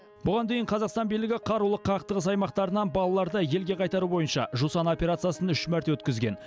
бұған дейін қазақстан билігі қарулы қақтығыс аймақтарынан балаларды елге қайтару бойынша жусан операциясын үш мәрте өткізген